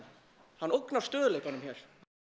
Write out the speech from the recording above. hann ógnar stöðugleikanum hér